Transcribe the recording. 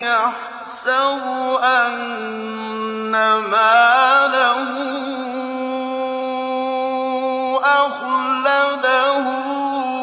يَحْسَبُ أَنَّ مَالَهُ أَخْلَدَهُ